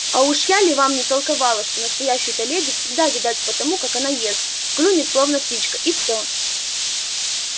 а уж я ли вам не толковала что настоящую-то леди всегда видать по тому как она ест клюнет словно птичка и всё